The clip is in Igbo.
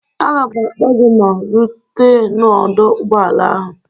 Aga m akpọ gị ma rutee n'ọdọ ụgbọala ahụ.